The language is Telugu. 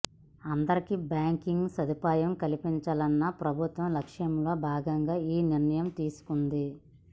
అందరికి బ్యాంకింగ్ సదుపాయం కల్పించాలన్న ప్రభుత్వ లక్ష్యంలో భాగంగా ఈ నిర్ణయం తీసుకుంది